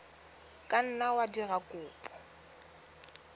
ka nna wa dira kopo